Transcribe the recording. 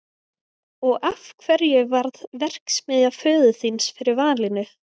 Og af hverju varð verksmiðja föður þíns fyrir valinu?